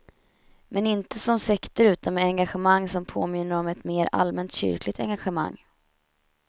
Men, inte som sekter utan med ett engagemang som påminner om ett mera allmänt kyrkligt engagemang.